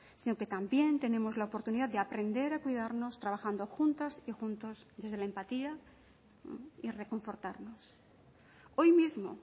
sino que también tenemos la oportunidad de aprender a cuidarnos trabajando juntas y juntos desde la empatía y reconfortarnos hoy mismo